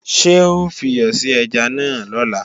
Ṣé ó fiyọ̀ sí ẹja náà lọ́la?